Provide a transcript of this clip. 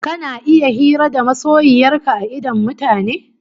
Kana iya hira da masoyiyar ka a idon mutane?